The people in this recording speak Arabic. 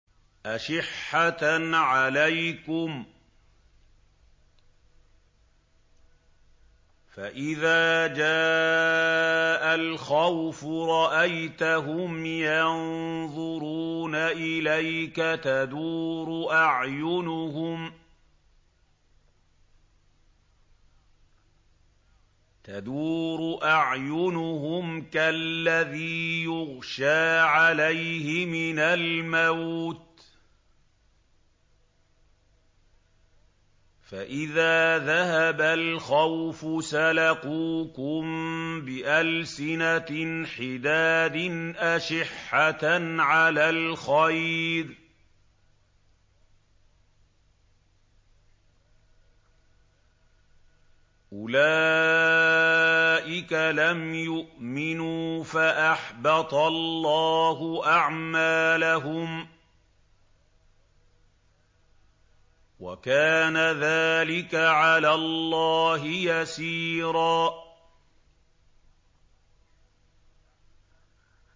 أَشِحَّةً عَلَيْكُمْ ۖ فَإِذَا جَاءَ الْخَوْفُ رَأَيْتَهُمْ يَنظُرُونَ إِلَيْكَ تَدُورُ أَعْيُنُهُمْ كَالَّذِي يُغْشَىٰ عَلَيْهِ مِنَ الْمَوْتِ ۖ فَإِذَا ذَهَبَ الْخَوْفُ سَلَقُوكُم بِأَلْسِنَةٍ حِدَادٍ أَشِحَّةً عَلَى الْخَيْرِ ۚ أُولَٰئِكَ لَمْ يُؤْمِنُوا فَأَحْبَطَ اللَّهُ أَعْمَالَهُمْ ۚ وَكَانَ ذَٰلِكَ عَلَى اللَّهِ يَسِيرًا